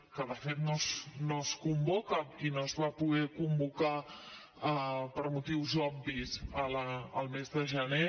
que de fet no es convoca i no es va poder convocar per motius obvis al mes de gener